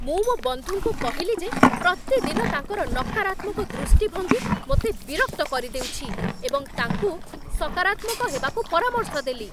ମୁଁ ମୋ ବନ୍ଧୁଙ୍କୁ କହିଲି ଯେ ପ୍ରତିଦିନ ତାଙ୍କର ନକାରାତ୍ମକ ଦୃଷ୍ଟିଭଙ୍ଗୀ ମୋତେ ବିରକ୍ତ କରିଦେଉଛି, ଏବଂ ତାଙ୍କୁ ସକରାତ୍ମକ ହେବାକୁ ପରାମର୍ଶ ଦେଲି।